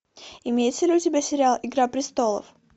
имеется ли у тебя сериал игра престолов